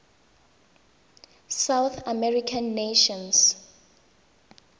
south american nations